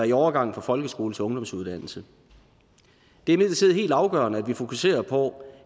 i overgangen fra folkeskole til ungdomsuddannelse det er imidlertid helt afgørende at vi fokuserer på